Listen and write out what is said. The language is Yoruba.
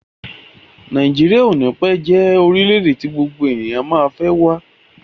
Nàíjíríà o ní pẹ́ jẹ́ orílẹ̀-èdè tí gbogbo ènìyàn má fẹ́ wá.